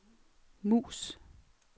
mus